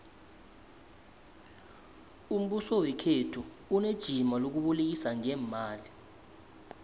umbuso wekhethu unejima lokubolekisa ngeemali